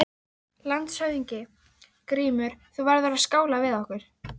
LANDSHÖFÐINGI: Grímur, þú verður að skála við okkur!